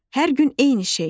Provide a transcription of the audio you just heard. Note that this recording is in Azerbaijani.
Hər gün eyni şey.